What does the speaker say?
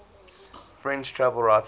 french travel writers